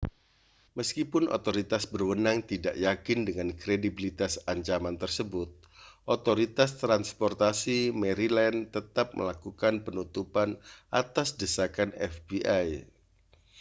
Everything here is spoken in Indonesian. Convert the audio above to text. meskipun otoritas berwenang tidak yakin dengan kredibilitas ancaman tersebut otoritas transportasi maryland tetap melakukan penutupan atas desakan fbi